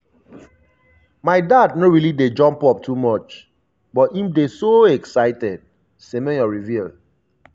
my dad no really dey jump up too much but im bin dey so excited" semenyo reveal.